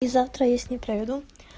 и завтра я с ним проведу